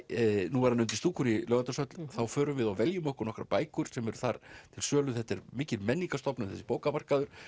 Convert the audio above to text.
nú er hann undir stúkunni í Laugardalshöll þá förum við og veljum okkur nokkrar bækur sem eru þar til sölu þetta er mikil menningarstofnun þessi bókamarkaður